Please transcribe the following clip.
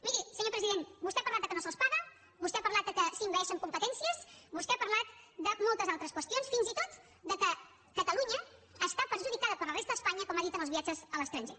miri senyor president vostè ha parlat que no se’ls paga vostè ha parlat que s’envaeixen competències vostè ha parlat de moltes altres qüestions fins i tot que catalunya està perjudicada per la resta d’espanya com ha dit en els viatges a l’estranger